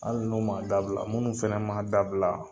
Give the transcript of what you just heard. Hali n'u m'a dabila, munnu fɛnɛ ma dabila